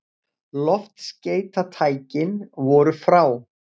Loftskeytatækin voru frá